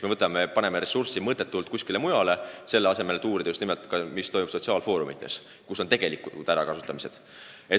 Kasutame ressursse kuskil mujal, näiteks selleks, et uurida, mis toimub sotsiaalfoorumites, kus leiavad aset tegelikud ärakasutamised.